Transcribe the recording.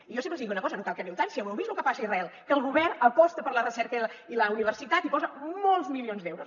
i jo sempre els dic una cosa no cal que hi aneu tant si ja ho heu vist el que passa a israel que el govern aposta per la recerca i la universitat i hi posa molts milions d’euros